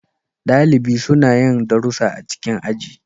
Dalibi suna yin darussa a cikin aji.